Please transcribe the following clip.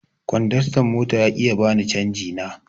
Kondastan mota ya ƙi ya bani canji na.